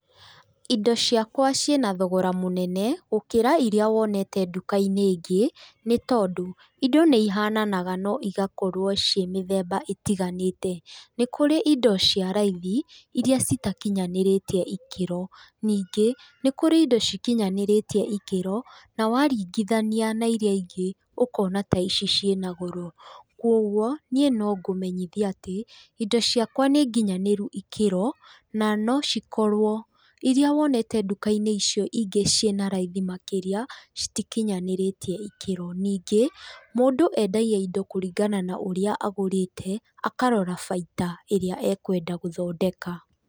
Indo ciakwa ciĩnathogora mũnene gũkĩra iria wonete nduka-inĩ ĩngĩ nĩ tondũ indo nĩ ihananaga na igakorwo ciĩ mĩthemba ĩtiganĩte. Nĩkũrĩ indo cia raithi iria citakinyanĩrĩtie ikĩro. Ningĩ nĩkũrĩ indo cikinyanĩrĩtiĩ ikĩro nawaringithania nairia ingĩ, ũkona ta ici ciĩnagoro, kũoguo niĩ no ngũmenyithie atĩ indo ciakwa nĩ nginyanĩru ĩkĩro na nocikorwo iria wonete nduka-inĩ icio ingĩ iria cinaraithi makĩria citikinyanĩrĩtie ikĩro. Ningĩ, mũndũ endagia indo kũringana na ũrĩa agũrĩte akarora baita ĩrĩa ekwenda gũthondeka.